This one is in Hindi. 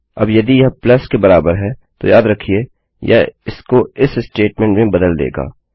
अब यदि यह प्लस के बराबर है तो याद रखिये यह इसको इस स्टेटमेंट में बदल देगा